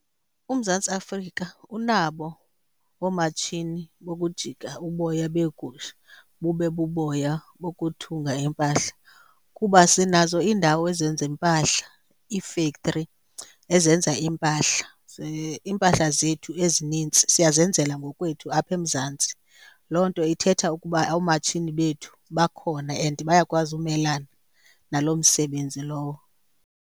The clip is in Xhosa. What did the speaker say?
UMzantsi Afrika unabo oomatshini bokujika uboya beegusha bube buboya bokuthunga iimpahla kuba sinazo iindawo ezenza impahla, iifektri ezenza iimpahla, iimpahla zethu ezinintsi siyazenzela ngokwethu apha eMzantsi. Loo nto ithetha ukuba oomatshini bethu bakhona and bayakwazi umelane naloo msebenzi lowo.